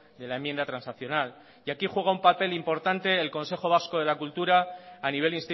de la enmienda transaccional y aquí juega un papel importante el consejo vasco de la cultura a nivel